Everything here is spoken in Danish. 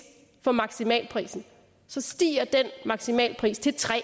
for maksimalprisen så stiger den maksimalpris til tre